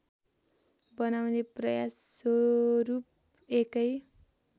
बनाउने प्रयास स्वरूप एकै